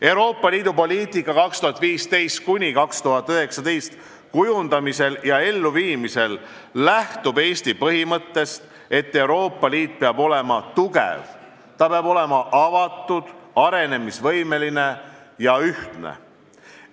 Euroopa Liidu poliitika 2015–2019 kujundamisel ja elluviimisel lähtub Eesti põhimõttest, et Euroopa Liit peab olema tugev, peab olema avatud, arenemisvõimeline ja ühtne.